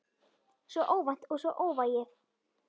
Svo óvænt og svo óvægið.